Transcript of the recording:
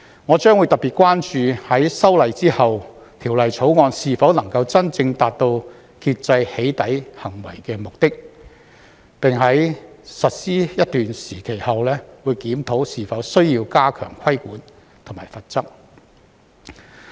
我將會特別關注在修例後，《條例草案》是否能夠真正達到遏制"起底"行為的目的，並在實施一段時期後檢討是否需要加強規管和罰則。